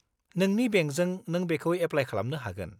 नोंनि बेंकजों नों बेखौ एफ्लाइ खालामनो हागोन।